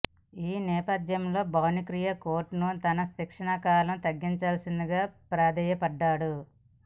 ఈ నేపథ్యంలో భానుకిరణ్ కోర్టును తన శిక్షా కాలం తగ్గించాల్సిందిగా ప్రాధేయపడ్డాడు